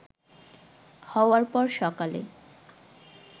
হওয়ার পর সকালে